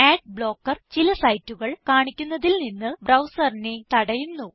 ad blocker ചില സൈറ്റുകൾ കാണിക്കുന്നതിൽ നിന്ന് ബ്രൌസറിനെ തടയുന്നു